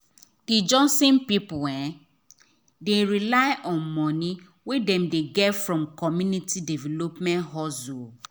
the johnson people um dey rely on money wey dem dey get from community development hustle. um